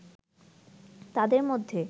তাদের মধ্যে